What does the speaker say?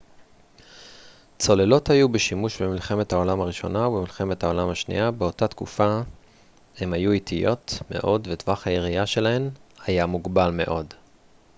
צוללות היו בשימוש במלחמת העולם הראשונה ובמלחמת העולם השנייה באותה תקופה הן היו איטיות מאוד וטווח הירייה שלהן היה מוגבל מאוד